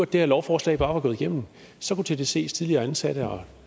det her lovforslag bare var gået igennem så kunne tdcs tidligere ansatte og